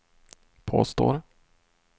påstår